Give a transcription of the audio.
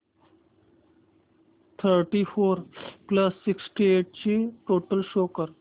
thirty four plus sixty eight ची total show कर